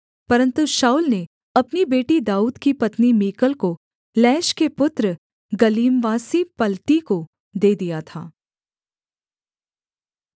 परन्तु शाऊल ने अपनी बेटी दाऊद की पत्नी मीकल को लैश के पुत्र गल्लीमवासी पलती को दे दिया था